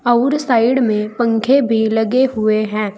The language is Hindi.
अउर साइड में पंखे भी लगे हुए हैं।